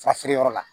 Fa feere yɔrɔ la